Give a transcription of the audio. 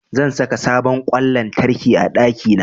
Zan saka sabon ƙwan lantarki a ɗakina.